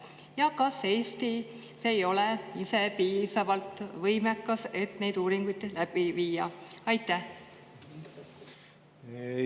Ja kas Eesti ei ole ise piisavalt võimekas, et neid uuringuid läbi viia?